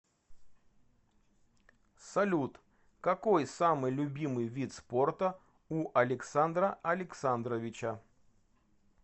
салют какой самый любимый вид спорта у александра александровича